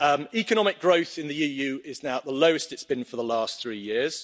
Economic growth in the EU is now at the lowest it is been for the last three years.